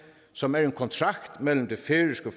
som er en kontrakt mellem det færøske